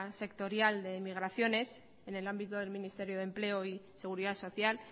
sectorial de migraciones en el ámbito del ministerio de empleo y seguridad social